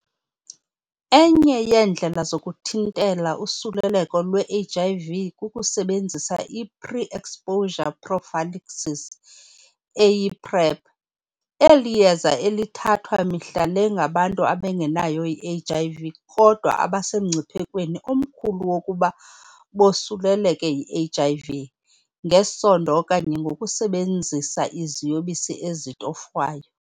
Enye yeendlela zokuthintela usuleleko lwe-HIV kukusebenzisa i-Pre-Exposure Prophylaxis, eyi-PrEP, eliyeza elithathwa mihla le ngabantu abangenayo i-HIV kodwa abasemngciphekweni omkhulu wokuba bosuleleke yi-HIV, ngesondo okanye ngokusebenzisa iziyobisi ezitofwayo.